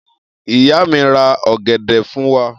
Iya mi ra ogede fun wa.